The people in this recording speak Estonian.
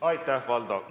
Aitäh, Valdo!